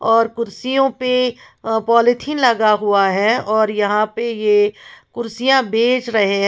और कुर्सियों पे अह पालीथीन लगा हुआ है और यहां पे ये कुर्सियां बेच रहे हैं।